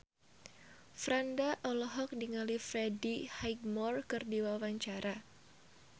Franda olohok ningali Freddie Highmore keur diwawancara